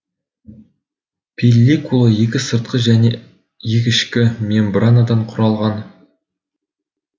пелликула екі сыртқы және екі ішкі мембранадан құралған